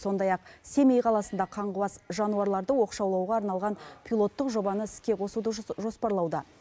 сондай ақ семей қаласында қаңғыбас жануарларды оқшаулауға арналған пилоттық жобаны іске қосуды жоспарлауда